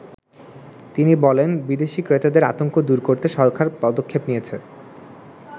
তিনি বলেন, "বিদেশী ক্রেতাদের আতংক দুর করতে সরকার পদক্ষেপ নিয়েছে।